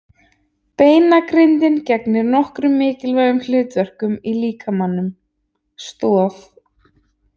Beinagrindin gegnir nokkrum mikilvægum hlutverkum í líkamanum: Stoð.